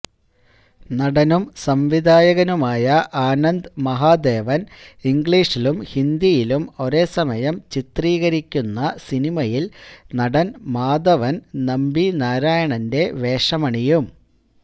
നടനും സംവിധായകനുമായ ആനന്ദ് മഹാദേവന് ഇംഗ്ലീഷിലും ഹിന്ദിയിലും ഒരേ സമയം ചിത്രീകരിക്കുന്ന സിനിമയില് നടന് മാധവന് നമ്പിനാരായണന്റെ വേഷമണിയും